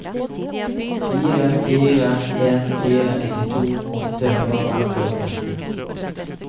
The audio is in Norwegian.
fire fire en fire nittito åtte hundre og femtiåtte